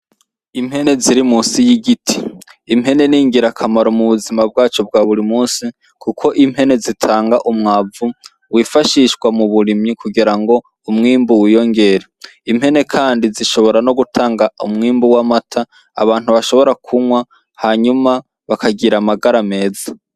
Impene ziri munsi y'igiti, impene ni ngira kamaro mu buzima bwacu bwa buri munsi kuko impene zitanga umwavu wifashishwa mu burimyi kugira ngo umwimbu wiyongere impene kandi zishobora no gutanga umwimbu w'amata abantu bashobora kunywa hanyuma bakagira amagara meza.